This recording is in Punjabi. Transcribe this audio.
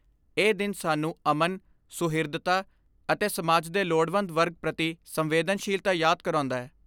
ਇਹ ਦਿਨ ਸਾਨੂੰ ਅਮਨ, ਸੁਹਿਰਦਤਾ ਅਤੇ ਸਮਾਜ ਦੇ ਲੋੜਵੰਦ ਵਰਗ ਪ੍ਰਤੀ ਸੰਵੇਦਨਸ਼ੀਲਤਾ ਯਾਦ ਕਰਾਉਂਦੈ।